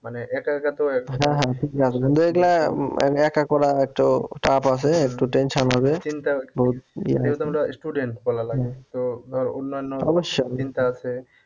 মানে একা একা তো হ্যাঁ হ্যাঁ ঠিকই আছে বন্ধু এগুলা মানে এক করা একটু tough আছে একটু tension হবে যেহেতু আমরা student বলা লাগে তো ধর অন্যান্য চিন্তা আছে